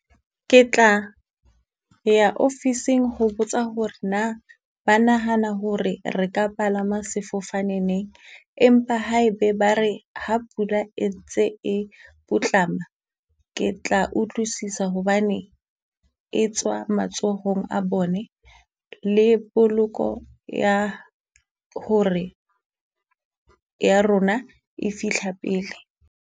Ke tla ya ofising ho botsa hore na ba nahana hore re ka palama sefofane neng, empa ha e be ba re ha pula e ntse e putlama, ke tla utlwisisa hobane etswa matsohong a bone, le poloko ya hore ya rona e fihla pele.